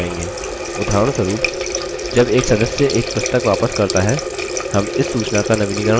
उदाहरणस्वरुप जब एक सदस्य एक पुस्तक वापस करता है हम इस सूचना का नवीनीकरण कर सकते हैं